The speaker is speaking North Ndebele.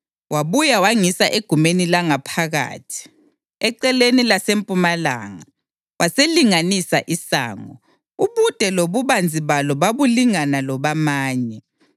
Wabuya wangisa egumeni langaphakathi, eceleni lasempumalanga, waselinganisa isango; ubude lobubanzi balo babulingana lobamanye.